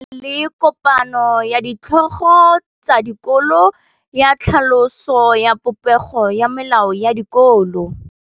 Go na le kopanô ya ditlhogo tsa dikolo ya tlhaloso ya popêgô ya melao ya dikolo.